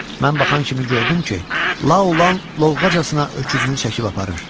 Mən baxan kimi gördüm ki, Laulan lovğacasına öküzünü çəkib aparır.